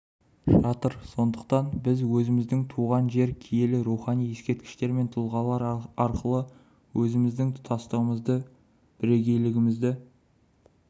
жатыр сондықтан біз өзіміздің туған жер киелі рухани ексерткіштер мен тұлғалар арқылы өзіміздің тұтастығымызды бірегейлігімізді